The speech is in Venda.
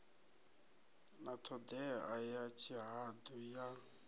na ṱhodea ya tshihaḓu ya